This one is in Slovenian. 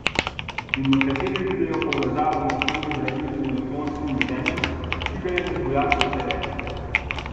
In nekateri vidijo povezavo med temi zdravili in odklonskim vedenjem, ki ga je med vojaki vse več.